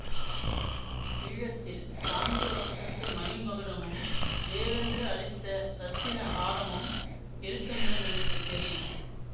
ஈழத்தில் பாண்டிய வம்சத்து மணி மகுடமும் தேவேந்திரன் அளித்த இரத்தின ஹாரமும் இருக்குமிடம் எனக்கு தெரியும்